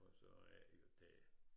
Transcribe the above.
Og så er et jo det